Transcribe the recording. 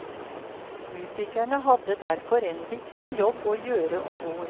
Musikerne hadde derfor en viktig jobb å gjøre om bord.